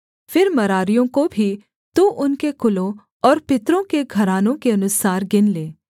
फिर मरारियों को भी तू उनके कुलों और पितरों के घरानों के अनुसार गिन लें